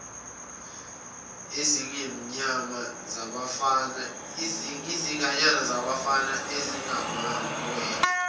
izinganyana zabafana ezingamawele